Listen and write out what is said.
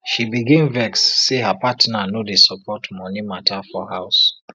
she begin vex say her partner no dey support money matter for house